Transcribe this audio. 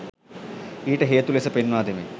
ඊට හේතු ලෙස පෙන්වා දෙමින්